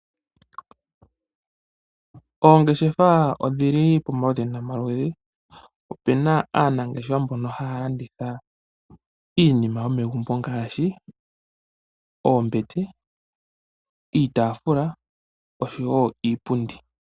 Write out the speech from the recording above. Ongeshefa odhili pa maludhi nomaludhi. Opuna aanangeshefa mbono haya landitha iinima ngaashi oombete, iipundi, iitafula ,oshowo niipundi.